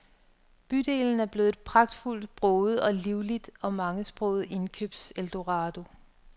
Bydelen er blevet et pragtfuldt broget og livligt og mangesproget indkøbseldorado.